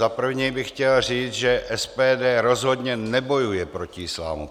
Za prvé bych chtěl říci, že SPD rozhodně nebojuje proti islámu.